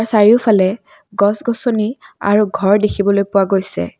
চাৰিওফালে গছ গছনি আৰু ঘৰ দেখিবলৈ পোৱা গৈছে।